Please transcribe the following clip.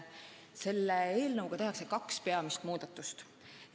Selle eelnõu eesmärk on teha kaks peamist muudatust.